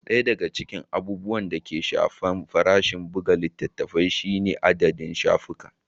Ɗaya daga cikin abubuwan da ke shafar farashin buga littafi shine adadin shafuka.